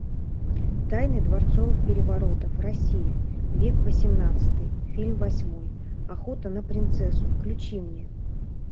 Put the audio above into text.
тайны дворцовых переворотов россия век восемнадцатый фильм восьмой охота на принцессу включи мне